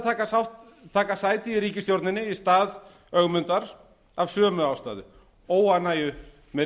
neitaði að taka sæti í ríkisstjórninni í stað ögmundar af sömu ástæðu óánægju með